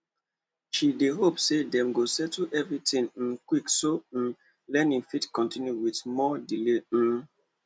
she dey hope say dem go settle everything um quick so um learning fit continue without more delay um